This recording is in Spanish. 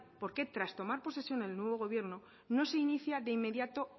por qué tras tomar posesión el nuevo gobierno no se inicia de inmediato